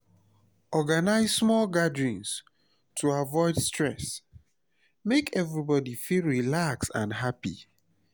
organize small gatherings to avoid stress; make everybody feel relaxed and happy.